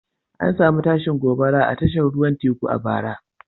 An samu tashin gobara a tashar ruwan teku a bara.